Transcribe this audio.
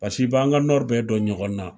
Pasi b'an ka bɛɛ dɔn ɲɔgɔnna